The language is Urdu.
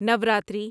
نوراتری